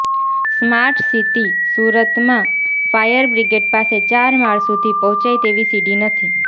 smart city સુરતમાં fire brigade પાસે ચાર માળ સુધી પહોચાઈ તેવી સીડી નથી